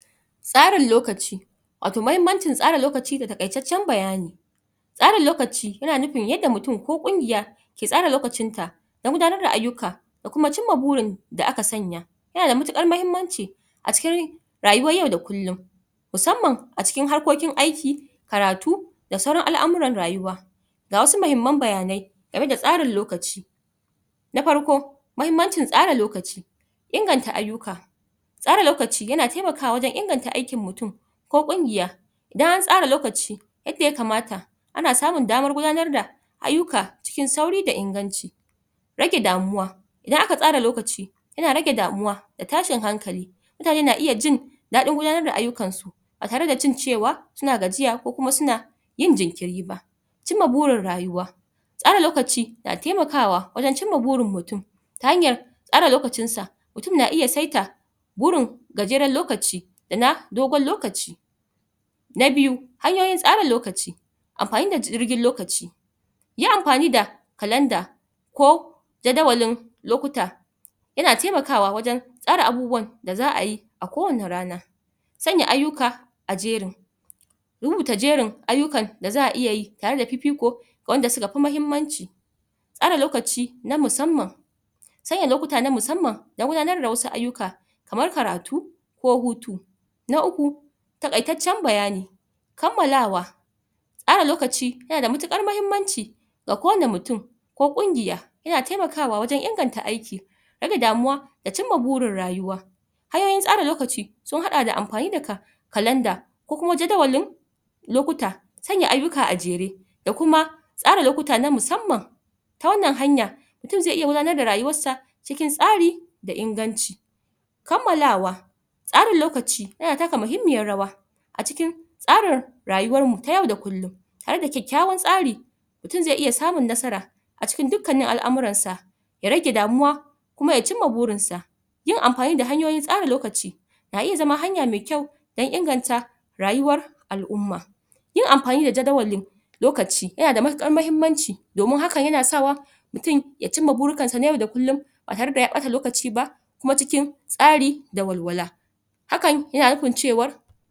tsarin lokaci wato mahimmancin tsara lokaci da taƙaitaccen bayani tsara lokaci yana nufin yadda mutum ko ƙungiya ke tsara lokacinta dan gudanar da ayyuka da kuma cimma burin da aka sanya yana da matuƙar mahimmanci a cikin rayuwar yau da kullum musamman a cikin harkokin aiki karatu da sauran al'amuran rayuwa ga wasu mahimman bayanai tsarin lokaci na farko mahimmancin tsara lokaci inganta ayyuka tsara lokaci yana temakawa wajen inganta aikin mutum ko ƙungiya bayan tsara lokaci yadda ya kamata ana samun damar gudanar da ayyuka cikin sauri da inganci rage damuwa idan aka tsara lokaci yana rage damuwa da tashin hankali mutane na iya jin daɗin gudanar da ayyukan su ba tare da cin cewa suna gajiya ko kuma suna yin jinkiri ba cimma burin rayuwa tsara lokaci na temakawa wajen cimma burin mutum ta hanyar tsara lokacin sa mutum na iya saita gajeren lokaci da na dogon lokaci na biyu hanyoyin tsara lokaci amfani da lokaci yi amfani da kalanda ko jadawalin lokuta yana temakawa wajen tsara abubuwan da za'a yi a kowane rana sanya ayyuka a jerin rubuta jerin ayyukan da za'a iya yi tare da fifiko ga wanda suka fi mahimmanci tsara lokaci na musamman sanya lokuta na musamman dan gudanar da wasu ayyuka kamar karatu ko hutu na uku taƙaitaccen bayani kammalawa tsara lokaci yana da matuƙar mahimmanci ga kowane mutum ko ƙungiya yana temakawa wajen inganta aiki rage damuwa da cimma burin rayuwa hanyoyin tsara lokaci sun haɗa da amfani da ka kalanda ko kuma jadawalin lokuta sanya ayyuka a jere da kuma tsara lokuta na musamman ta wannan hanya mutum ze iya gudanar da rayuwar sa cikin tsari da inganci kammalawa tsara lokaci yana taka muhimmiyar rawa a cikin tsarin rayuwar mu ta yau da kullum tare da kyakkyawar tsari mutum ze iya samun nasara a cikin dukkanin al'amuran sa ya rage damuwa kuma ya cimma burin sa yin amfani da hanyoyin tsara lokaci na iya zama hanya me kyau dan inganta rayuwar al'umma yin amfani da jadawalin lokaci yana da matuƙar mahimmanci domin haka yana sa wa mutum ya cimma burukan sa na yau da kullum ba tare da ya ɓata lokaci ba kuma cikin tsari da walwala hakan yana nufin cewar